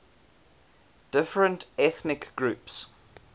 different ethnic groups